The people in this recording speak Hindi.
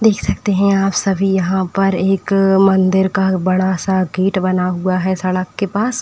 देख सकते हैं आप सभी यहाँ पर एक मंदिर का बड़ा सा गेट बना हुआ है सड़क के पास --